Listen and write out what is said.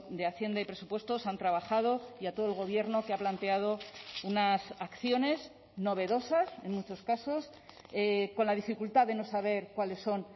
de hacienda y presupuestos han trabajado y a todo el gobierno que ha planteado unas acciones novedosas en muchos casos con la dificultad de no saber cuáles son